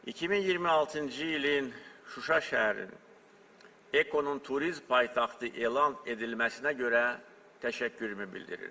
2026-cı ilin Şuşa şəhərinin EKO-nun turizm paytaxtı elan edilməsinə görə təşəkkürümü bildirirəm.